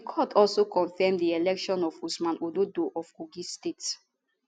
di court also confam di election of usman ododo of kogi state